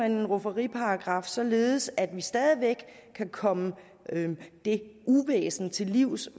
en rufferiparagraf således at vi stadig væk kan komme det uvæsen til livs